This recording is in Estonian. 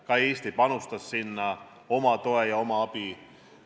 Ka Eesti panustas sinna oma toe ja abi.